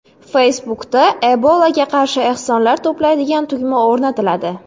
Facebook’da Ebolaga qarshi ehsonlar to‘playdigan tugma o‘rnatiladi.